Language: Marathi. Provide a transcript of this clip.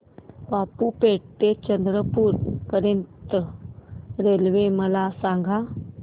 बाबूपेठ ते चंद्रपूर पर्यंत रेल्वे मला सांगा